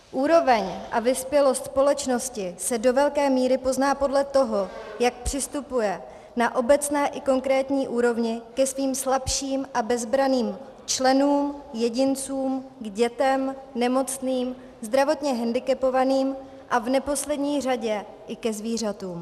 Úroveň a vyspělost společnosti se do velké míry pozná podle toho, jak přistupuje na obecné i konkrétní úrovni ke svým slabším a bezbranným členům, jedincům, k dětem, nemocným, zdravotně hendikepovaným a v neposlední řadě i ke zvířatům.